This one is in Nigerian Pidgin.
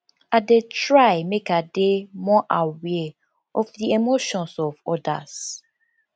i dey try make i dey more aware of di emotions of odas